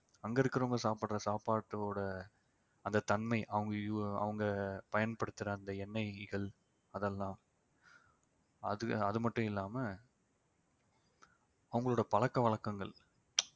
அங்க இருக்கிறவங்க சாப்பிடுற சாப்பாட்டோட அந்த தன்மை அவங்க us~ அவங்க பயன்படுத்துற அந்த எண்ணெய்கள் அதெல்லாம் அது அது மட்டும் இல்லாம அவங்களோட பழக்க வழக்கங்கள்